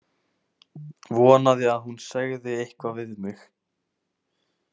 Vonaði að hún segði eitthvað við mig.